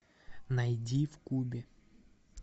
найди в кубе